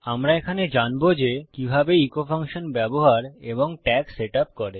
আমরা এখানে জানবো যে কিভাবে ইকো প্রতিধ্বনি ফাংশন ব্যবহার এবং ট্যাগ সেট আপ করে